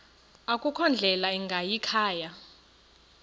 akukho ndlela ingayikhaya